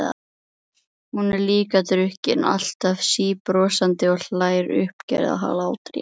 Hún er líka drukkin, alltaf síbrosandi og hlær uppgerðarhlátri.